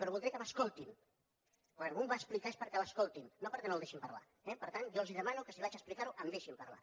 però voldria que m’escoltessin perquè quan un va a explicar és perquè l’escoltin no perquè no el deixin parlar eh per tant jo els demano que si vaig a explicar ho em deixin parlar